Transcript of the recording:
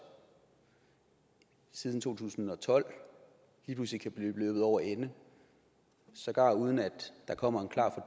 siden to tusind og tolv lige pludselig kan blive løbet over ende sågar uden at der kommer